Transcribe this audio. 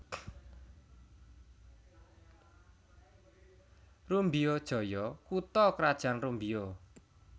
Rumbio Jaya kutha krajan Rumbio